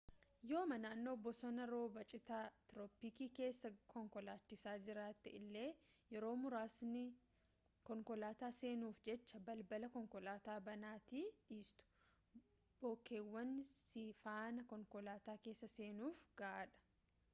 yooma nannoo bosona roobaa cita tirooppikii keessa konkolaachisaa jiraatte illee yeroo muraasni konkolaataa seenuuf jecha balbala konkolaataa banaatti dhiistu bookeewwan si faana konkolaataa keessa seenuuf gahaadha